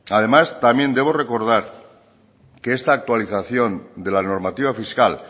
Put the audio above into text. además también debo recordar que esta actualización de la normativa fiscal